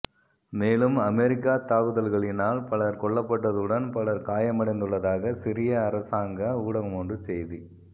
மேலும் அமெரிக்கா தாக்குதல்களினால் பலர் கொல்லப்பட்டதுடன் பலர் காயமடைந்துள்ளதாக சிரிய அரசாங்க ஊடகமொன்று செய்தி